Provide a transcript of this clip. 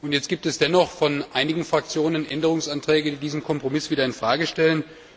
Jetzt gibt es dennoch von einigen Fraktionen Änderungsanträge, die diesen Kompromiss wieder in Frage stellen.